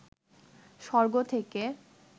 স্বর্গ থেকে